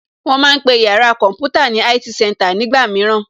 Wón ma ń pe yàrá kọ̀ḿpútà ní IT center nígbà mìíràn